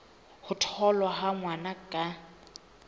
ho tholwa ha ngwana ka